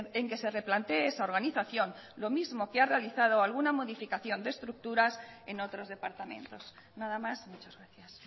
en que se replantee esa organización lo mismo que ha realizado alguna modificación de estructuras en otros departamentos nada más muchas gracias